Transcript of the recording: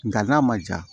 Nga n'a ma ja